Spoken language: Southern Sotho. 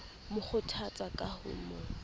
mo kgothatsa ka ho mo